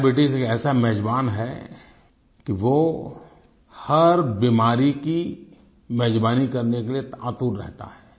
diabetes एक ऐसा मेजबान है कि वो हर बीमारी की मेजबानी करने के लिए आतुर रहता है